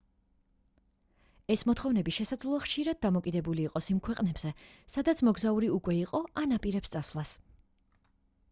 ეს მოთხოვნები შესაძლოა ხშირად დამოკიდებული იყოს იმ ქვეყნებზე სადაც მოგზაური უკვე იყო ან აპირებს წასვლას